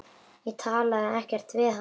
Ég talaði ekkert við hann.